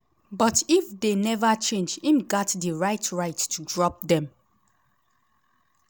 but if dey neva change im gat di right right to drop dem.